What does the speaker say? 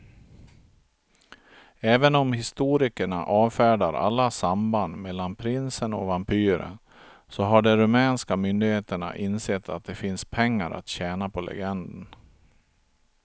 Även om historikerna avfärdar alla samband mellan prinsen och vampyren så har de rumänska myndigheterna insett att det finns pengar att tjäna på legenden.